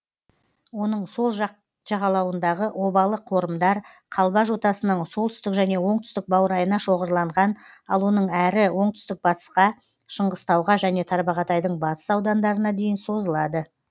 оның сол жақ жағалауындағы обалы қорымдар қалба жотасының солтүстік және оңтүстік баурайына шоғырланған ал онаң әрі оңтүстік батысқа шыңғыстауға және тарбағатайдың батыс аудандарына дейін созылады